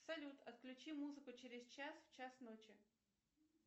салют отключи музыку через час в час ночи